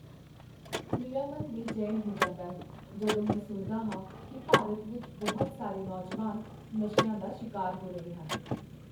ਮੇਰਾ ਮਨ ਬੇਚੈਨ ਹੋ ਜਾਂਦਾ ਹੈ ਜਦੋਂ ਮੈਂ ਸੁਣਦਾ ਹਾਂ ਕਿ ਭਾਰਤ ਵਿੱਚ ਬਹੁਤ ਸਾਰੇ ਨੌਜਵਾਨ ਨਸ਼ਿਆਂ ਦਾ ਸ਼ਿਕਾਰ ਹੋ ਰਹੇ ਹਨ।